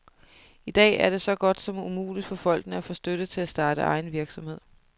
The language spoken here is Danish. I dag er det så godt som umuligt for folkene at få støtte til at starte egen virksomhed.